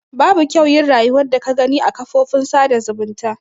Babu kyau yin rayuwan da ka Gani a kan kafofin sada zumunta.